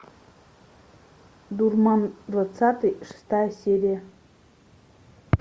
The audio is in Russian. дурман двадцатый шестая серия